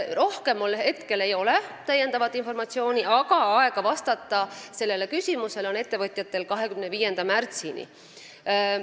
Rohkem mul praegu informatsiooni ei ole, aga ettevõtjatel on aega vastata sellele küsimusele 25. märtsini.